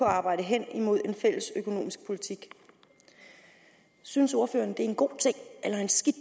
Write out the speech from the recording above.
arbejde hen imod en fælles økonomisk politik synes ordføreren det er en god ting eller en skidt